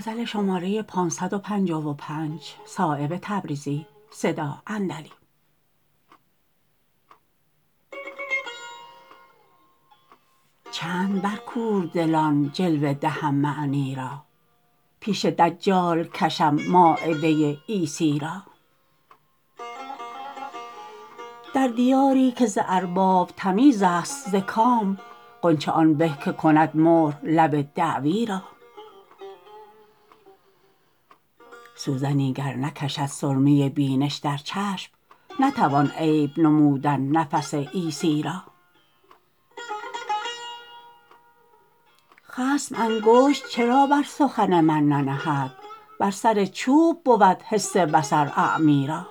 چند بر کوردلان جلوه دهم معنی را پیش دجال کشم مایده عیسی را در دیاری که ز ارباب تمیزست ز کام غنچه آن به که کند مهر لب دعوی را سوزنی گر نکشد سرمه بینش در چشم نتوان عیب نمودن نفس عیسی را خصم انگشت چرا بر سخن من ننهد بر سر چوب بود حس بصر اعمی را